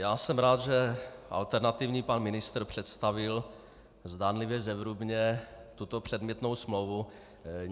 Já jsem rád, že alternativní pan ministr představil zdánlivě zevrubně tuto předmětnou smlouvu.